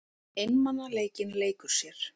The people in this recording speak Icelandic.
Einmanaleikinn leikur sér.